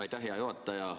Aitäh, hea juhataja!